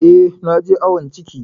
Eh, na je awon ciki.